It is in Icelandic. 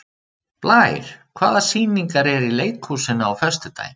Blær, hvaða sýningar eru í leikhúsinu á föstudaginn?